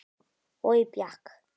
Oj bjakk.